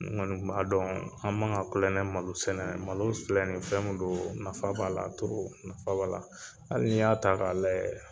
N kɔni kun m'a dɔn, an man ka kulon kɛ malo sɛnɛ na, malo filɛ ni fɛn don nafa b'a la nafa b'a la, hali n'i y'a ta k'a lajɛ